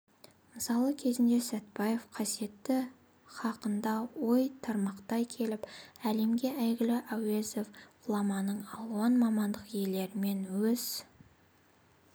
мысалы кезінде сәтбаев қасиеті хақында ой тармақтай келіп әлемге әйгілі әуезов ғұламаның алуан мамандық иелерімен өз